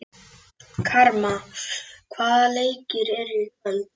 BAUJA: Guði sé lof, ég heyri aftur í þér!